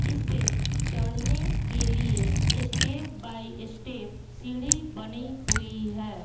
इसे चढ़ने के लिए स्टेप बाई स्टेप सीढ़ी बनी हुई है।